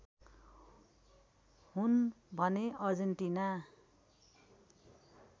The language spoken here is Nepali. हुन् भने अर्जेन्टिना